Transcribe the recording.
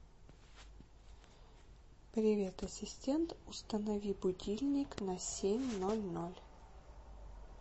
привет ассистент установи будильник на семь ноль ноль